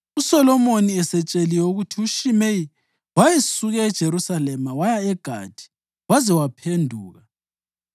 USolomoni esetsheliwe ukuthi uShimeyi wayesuke eJerusalema waya eGathi waze waphenduka,